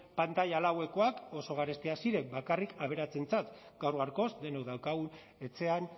pantaila laukoak oso garestiak ziren bakarrik aberatsentzat gaur gaurkoz denok daukagu etxean